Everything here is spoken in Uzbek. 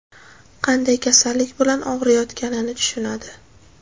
qanday kasallik bilan og‘riyotganini tushunadi.